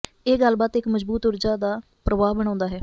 ਇਹ ਗੱਲਬਾਤ ਇੱਕ ਮਜ਼ਬੂਤ ਊਰਜਾ ਦਾ ਪ੍ਰਵਾਹ ਬਣਾਉਦਾ ਹੈ